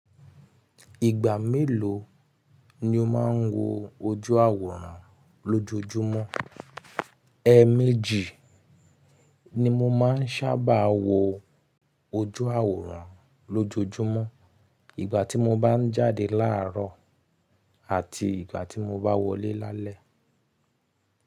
Ìgbà mélòó ni o máa ń wo ojú àwòrán lójojúmọ́? Ẹ mẹ́jì ni mo máa ń sábà wo ojú àwòrán lójojúmọ́. Ìgbà tí mo bá ń jáde láàárọ̀ àti ìgbà tí mo bá wọlé lálẹ́.